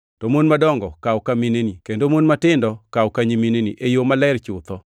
to mon madongo kaw ka mineni, kendo mon matindo kaw ka nyimineni, e yo maler chutho.